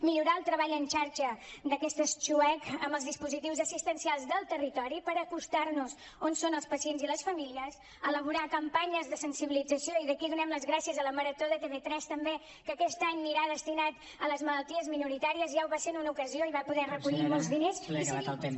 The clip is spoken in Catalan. millorar el treball en xarxa d’aquestes xuec amb els dispositius assistencials del territori per acostar nos on són els pacients i les famílies elaborar campanyes de sensibilització i d’aquí donem les gràcies a la marató de tv3 també que aquest any anirà destinat a les malalties minoritàries ja ho va ser en una ocasió i va poder recollir molts diners i seguim